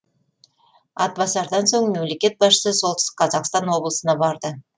атбасардан соң мемлекет басшысы солтүстік қазақстан облысына барды